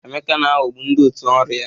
Emeka na-aghọgbu ndị òtù ọrụ ya.